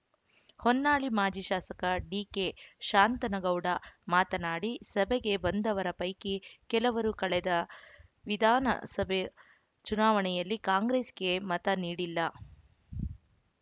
ಹೊನ್ನಾಳಿ ಮಾಜಿ ಶಾಸಕ ಡಿಕೆ ಶಾಂತನಗೌಡ ಮಾತನಾಡಿ ಸಭೆಗೆ ಬಂದವರ ಪೈಕಿ ಕೆಲವರು ಕಳೆದ ವಿಧಾನಸಭೆ ಚುನಾವಣೆಯಲ್ಲಿ ಕಾಂಗ್ರೆಸ್ಸಿಗೆ ಮತ ನೀಡಿಲ್ಲ